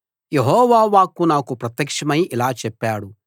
యెహోవా వాక్కు నాకు ప్రత్యక్షమై ఇలా చెప్పాడు